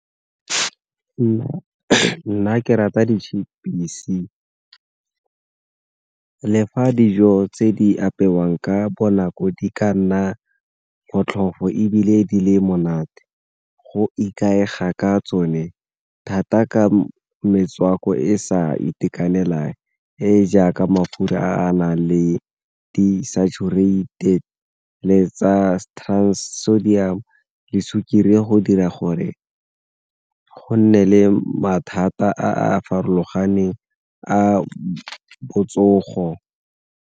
Nna ke rata di-chips-i le fa dijo tse di apewang ka bonako di ka nna botlhofo ebile di le monate go ikaega ka tsone thata ka metswako e e sa itekanelang, e jaaka mafura a na le di-saturated le tsa sodium le sukiri go dira gore go nne le mathata a a farologaneng a botsogo.